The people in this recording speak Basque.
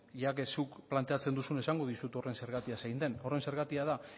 ya que zuk planteatzen duzun esango dizut horren zergatia zen den horren zergatia da